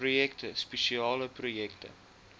projekte spesiale projekte